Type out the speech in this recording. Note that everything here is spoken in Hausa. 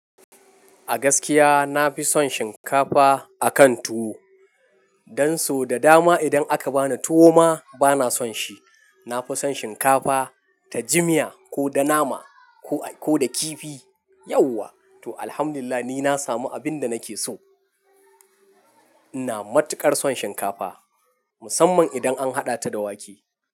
A gaskiya, na fi son shinkafa a kan tuwo. Dan so da dama idan aka bani tuwo ma bana son shi. Na fi son shinkafa ta jimia ko da nama ko, ko da kifi. Yauwa, to alhamdulillah ni na samu abin da nake so. Ina matuƙar son shinkafa, musamman idan an haɗa ta da wake.